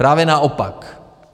Právě naopak.